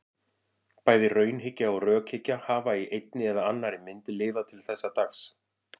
Bæði raunhyggja og rökhyggja hafa í einni eða annarri mynd lifað til þessa dags.